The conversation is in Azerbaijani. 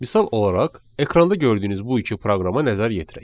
Misal olaraq ekranda gördüyünüz bu iki proqrama nəzər yetirək.